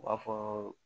U b'a fɔ